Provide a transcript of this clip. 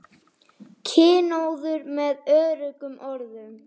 Kynóður með öðrum orðum.